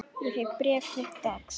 Ég fékk bréf þitt dags.